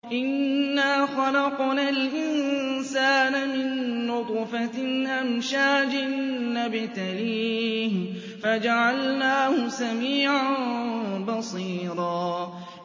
إِنَّا خَلَقْنَا الْإِنسَانَ مِن نُّطْفَةٍ أَمْشَاجٍ نَّبْتَلِيهِ فَجَعَلْنَاهُ سَمِيعًا بَصِيرًا